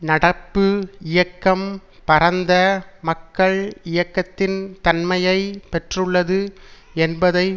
நடப்பு இயக்கம் பரந்த மக்கள் இயக்கத்தின் தன்மையை பெற்றுள்ளது என்பதை